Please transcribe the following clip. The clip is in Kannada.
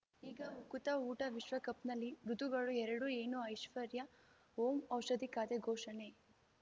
ಈಗ ಉಕುತ ಊಟ ವಿಶ್ವಕಪ್‌ನಲ್ಲಿ ಋತುಗಳು ಎರಡು ಏನು ಐಶ್ವರ್ಯಾ ಓಂ ಔಷಧಿ ಖಾತೆ ಘೋಷಣೆ